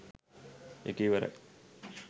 ඒක ඉවරයි.